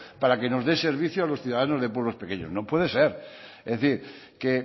para que nos de servicio a los ciudadanos de pueblos pequeños no puede ser es decir que